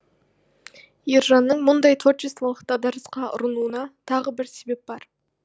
ержанның мұндай творчестволық дағдарысқа ұрынуына тағы бір себеп бар